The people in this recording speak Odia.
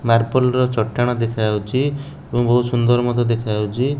ମାର୍ବଲ ର ଚଟାଣ ଦେଖା ଯାଉଚି ଏବଂ ବହୁତ ସୁନ୍ଦର ମଧ୍ୟ ଦେଖା ଯାଉଚି ।